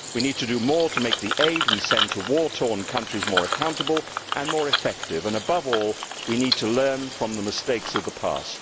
We need to do more to make the aid we send to war torn countries more accountable and more effective, and above all we need to learn from the mistakes of the past.